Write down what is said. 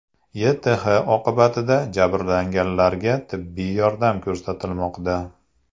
YTH oqibatida jabrlanganlarga tibbiy yordam ko‘rsatilmoqda.